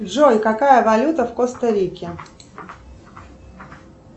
джой какая валюта в коста рике